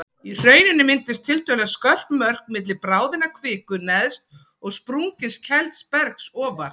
Í hrauninu mynduðust tiltölulega skörp mörk milli bráðinnar kviku neðst og sprungins kælds bergs ofar.